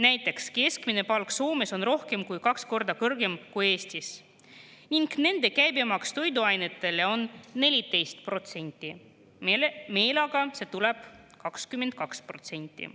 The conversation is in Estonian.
Näiteks on keskmine palk Soomes rohkem kui kaks korda kõrgem kui Eestis, aga nende käibemaks toiduainetele on 14%, meil tuleb see 22%.